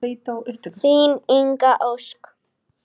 Þín Inga Ósk.